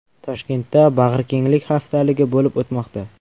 Toshkentda bag‘rikenglik haftaligi bo‘lib o‘tmoqda.